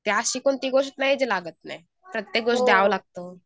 तर अशी कोणती गोष्ट नाही जी लागत नाही. प्रत्येक गोष्ट द्यावं लागतं.